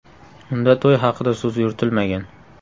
Unda to‘y haqida so‘z yuritilmagan.